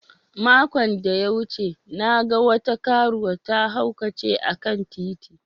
Makon da ya wuce, na gan wata karuwa ta haukace a'kan titi.